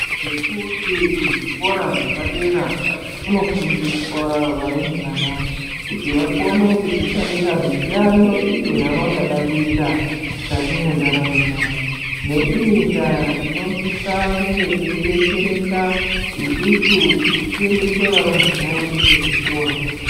Ngekuti kuzvikora zvepadera kunofundiswa varumbwana kuti vakone kuzdzishandira mishando iyo yavangada kuita mukati mwendaramo yavo neiyi ndaa tinosisa kunge teidetsereka isusu kuti tiendese varumbwana vedu kuzvikora.